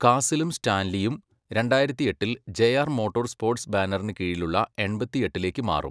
കാസിലും സ്റ്റാൻലിയും രണ്ടായിരത്തിയെട്ടിൽ JR motor sports ബാനറിന് കീഴിലുള്ള എൺപത്തിയെട്ടിലേക്ക് മാറും.